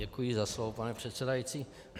Děkuji za slovo, pane předsedající.